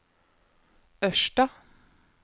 Ørsta